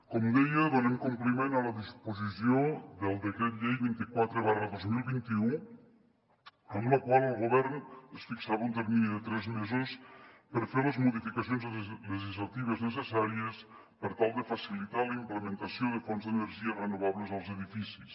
com deia donem compliment a la disposició del decret llei vint quatre dos mil vint u amb la qual el govern es fixava un termini de tres mesos per fer les modificacions legislatives necessàries per tal de facilitar la implementació de fonts d’energies renovables als edificis